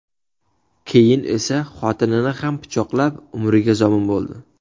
Keyin esa xotinini ham pichoqlab, umriga zomin bo‘ldi.